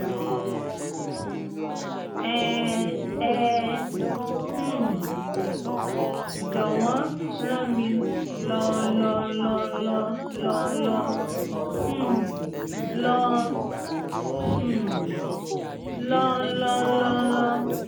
ẹ̀n ẹ um jọwọ́n ràn mí lọ́n lọ́n lọ́n lọ́n lọ́n lọ́n um lọ́n um lọ́n lọ́n lọ́n lọ́n